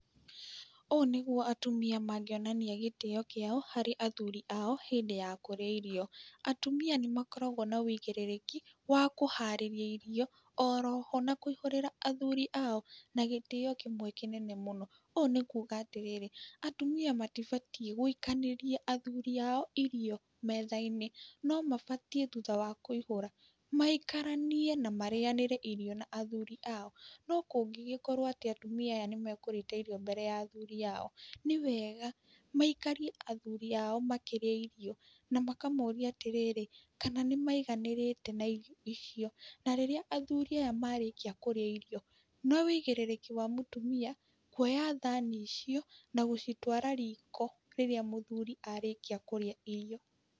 Ũũ nĩguo atumĩa mangĩonania gĩtĩyo kĩao harĩ athuri ao hindĩ ya kũrĩa irio. Atumĩa nĩ makoragwo na wũigĩrĩrĩki wa kũharĩria irio oroho na kũihũrĩra athuri ao na gĩtĩyo kĩmwe kĩnene mũno. Ũũ nĩ kuga atĩrĩrĩ atumĩa matibatiĩ gũĩkanĩria athuri ao irio metha-inĩ no mabatĩĩ thutha wa kũĩhũra maĩkaranie na marĩyanĩre irio na athuri ao. Nokũngĩgĩkorwo atĩ atumĩa aya nĩ mekũrĩte irio mbere ya athuri ao nĩ wega maĩkarie athuri ao makĩrĩa irio na makamoria atĩrĩrĩ kana nĩmaiganĩrĩte na irio icio. Na rĩrĩa athuri aya marĩkia kũrĩa irio nĩ wĩigĩrĩrĩki wa mũtumia kuoya thani icio na gũcitwara riko rĩrĩa mũthuri arĩkia kũrĩa irio.